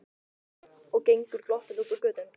Og gengur glottandi út á götuna.